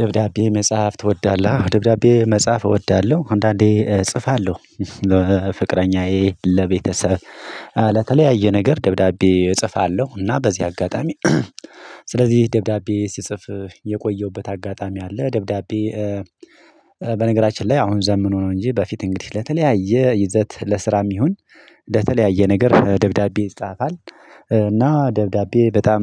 ደብዳቤ መጻፍ ትወዳለሀ? ደብዳቤ መጻፍ እወዳለሁ አንዳንዴ እጽፋለሁ። ፍቅረኛዬ ለቤተሰብ ለተለያየ ነገር ደብዳቤ እጽፋለሁ እና በዚህ አጋጣሚ። ስለዚህ ደብዳቤ ሲጽፍ የቆየሁበት አጋጣሚ አለ። ደብዳቤ። በነገራችን ላይ አሁን ዘምኖ ነው። እንጂ በፊት እንግዲህ ለተለያየ ይዘት ለስራም ይሁን ለተለያየ ነገር ደብዳቤ ይጻፋል። እና ደብዳቤ በጣም